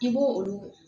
I b'o olu